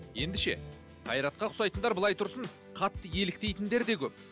енді ше қайратқа ұқсайтындар былай тұрсын қатты еліктейтіндер де көп